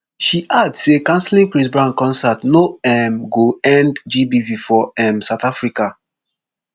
she add say cancelling chris brown concert no um go end gbv for um south africa